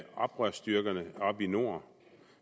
oprørsstyrkerne oppe nordpå